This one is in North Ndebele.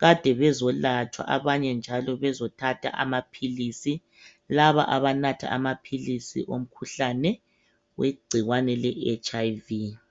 kade bezolatshwa, abanye njalo bezothatha amaphilisi, laba abanatha amaphilisi wegcikwane leHIV.